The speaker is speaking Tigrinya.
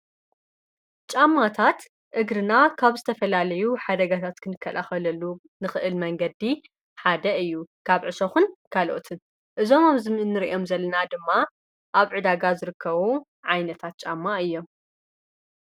ጫማታት እግርና ካብ ዝተፈላለዩ ኃደጋታት ክንከልኸለሉ ንኽእል መንገዲ ሓደ እዩ ። ካብ ዕሰኹን ካልኦትን እዞም ኣብ ዝምእኒርእዮም ዘለና ድማ ኣብ ዕዳጋ ዝርከዉ ዓይነታት ጫማ እዮ።